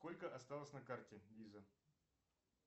сколько осталось на карте виза